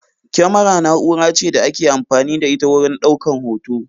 Kyamara na'ura ce da ake amfani da ita wurin ɗaukan hoto